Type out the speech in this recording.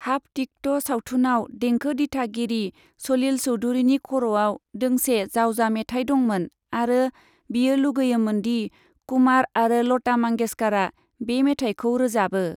Half ticket' सावथुनाव देंखो दिथागिरि सलिल चौधुरीनि खर'आव दोंसे जावजा मेथाइ दंमोन आरो बियो लुगैयोमोन दि कुमार आरो लता मंगेशकारा बे मेथाइखौ रोजाबो।